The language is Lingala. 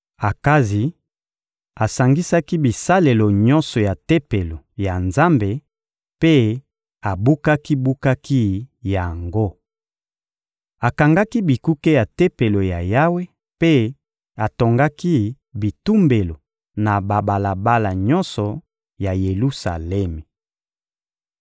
Akazi asangisaki bisalelo nyonso ya Tempelo ya Nzambe mpe abukaki-bukaki yango. Akangaki bikuke ya Tempelo ya Yawe mpe atongaki bitumbelo na babalabala nyonso ya Yelusalemi.